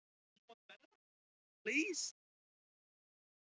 Fóru þeir oft þrír saman: Skotti